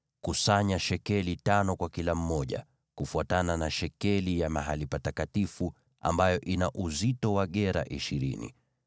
kusanya shekeli tano kwa kila mmoja, kufuatana na shekeli ya mahali patakatifu, ambayo ina uzito wa gera ishirini.